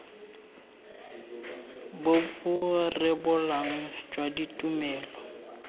bo bo rebolang jwa ditumelelo